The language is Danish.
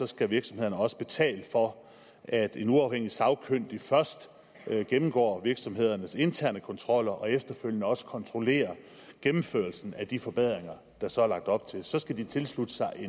skal virksomhederne også betale for at en uafhængig sagkyndig først gennemgår virksomhedernes interne kontroller og efterfølgende også kontrollerer gennemførelsen af de forbedringer der så er lagt op til så skal de tilslutte sig